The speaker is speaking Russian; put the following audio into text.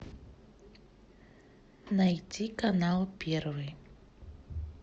найти канал первый